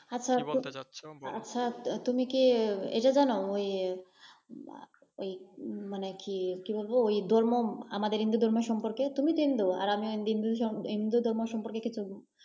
আচ্ছা তুমি কি এটা জানো, ওই ওই মানে কি কি বলব ওই ধর্ম আমাদের হিন্দু ধর্ম সম্পর্কে তুমি তো হিন্দু আর আমিও হিন্দু। হিন্দু ধর্ম সম্পর্কে কিছু।